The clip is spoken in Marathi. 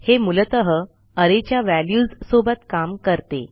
हे मूलत अरे च्या व्हॅल्युज सोबत काम करते